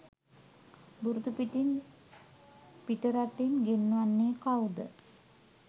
බුරුතු පිටින් පිටරටින් ගෙන්වන්නේ කව්ද?